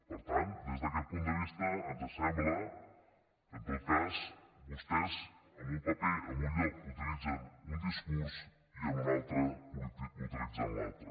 per tant des d’aquest punt de vista ens sembla que en tot cas vostès en un paper en un lloc utilitzen un discurs i en un altre utilitzen l’altre